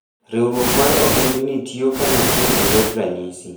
Riwruok mar ogendini tiyo kanyachiel e yor ranyisi.